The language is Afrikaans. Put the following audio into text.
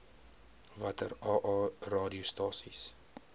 watter aa radiostasies